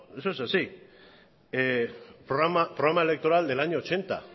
es así programa electoral del año ochenta